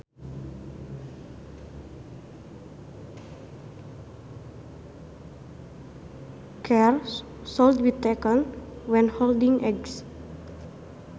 Care should be taken when holding eggs